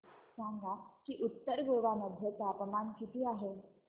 सांगा की उत्तर गोवा मध्ये तापमान किती आहे